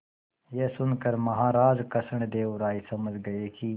यह सुनकर महाराज कृष्णदेव राय समझ गए कि